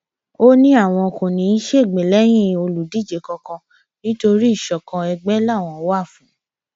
ó ní àwọn kò ní í ṣègbè lẹyìn olùdíje kankan nítorí ìṣọkan ègbè làwọn wà fún